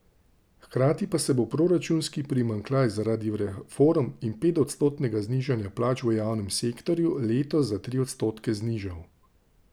Hkrati pa se bo proračunski primanjkljaj zaradi reform in petodstotnega znižanja plač v javnem sektorju letos za tri odstotke znižal.